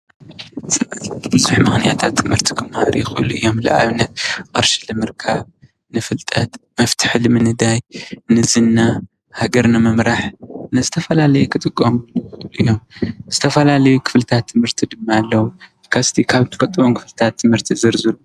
ብብዙሕ ምክንያታት ትምህርቲ ክመሃሩ ይኽእሉ እዮም። ንኣብነት ቅርሺ ንምርካብ፣ ንፍልጠት፣ መፈትሒ ንምንዳይ፣ ንዝና፣ ሀገር ንምምራሕ ንዝተፈላለዩ ክጠቅሙ ይክእሉ እዮም። ዝተፈላለዩ ክፍልታት ትምህርቲ ድማ ኣለው። እስቲ ካብ እትፍልጥዎ ክፍልታት ትምህርቲ ዘርዝሩ።